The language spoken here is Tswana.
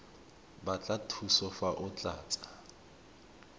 batla thuso fa o tlatsa